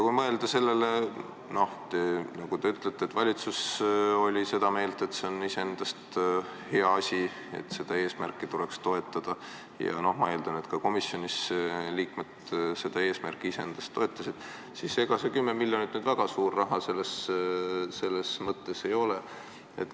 Kui mõelda sellele, et valitsus oli seda meelt, et see on iseendast hea asi, et seda eesmärki tuleks toetada, ja ma eeldan, et ka komisjonis liikmed seda eesmärki toetasid, siis ega see 10 miljonit nüüd väga suur raha ei ole.